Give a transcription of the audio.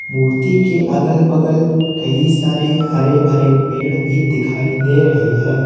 मूर्ति के अगल बगल कई सारे हरे भरे पेड़ भी दिखाई दे रहे हैं।